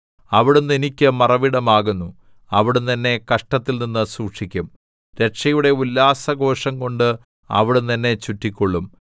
അവിടുന്ന് എനിക്ക് മറവിടമാകുന്നു അവിടുന്ന് എന്നെ കഷ്ടത്തിൽനിന്നു സൂക്ഷിക്കും രക്ഷയുടെ ഉല്ലാസഘോഷംകൊണ്ട് അവിടുന്ന് എന്നെ ചുറ്റിക്കൊള്ളും സേലാ